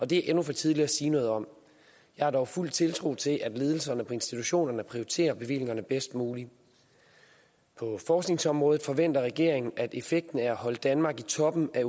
det endnu for tidligt at sige noget om jeg har dog fuld tiltro til at ledelserne på institutionerne prioriterer bevillingerne bedst muligt på forskningsområdet forventer regeringen at effekten af at holde danmark i toppen af